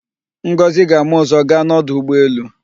Ngọzị ga-ama ụ̀zọ́ gaa n'ọdụ ụgbọelu.